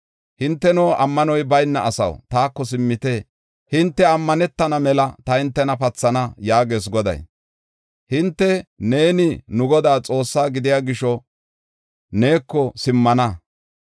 “Hinteno, ammanoy bayna asaw, taako simmite. Hinte ammanetana mela ta hintena pathana” yaagees Goday. Hinte, “Neeni, nu Godaa Xoossaa gidiya gisho neeko simmana.